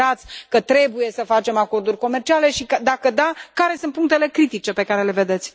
Considerați că trebuie să facem acorduri comerciale și, dacă da, care sunt punctele critice pe care le vedeți?